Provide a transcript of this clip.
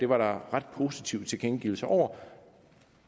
var ret positive tilkendegivelser om